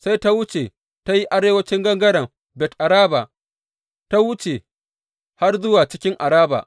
Sai ta wuce ta yi arewancin gangaren Bet Araba, ta wuce har zuwa cikin Araba.